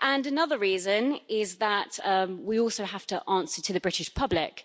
And another reason is that we also have to answer to the British public.